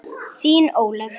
Þín, Ólöf.